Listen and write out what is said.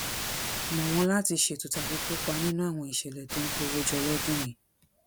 mọ wọn láti ṣètò tàbí kópa nínú àwọn ìṣẹlẹ tó ń kó owó jọ lọdún yìí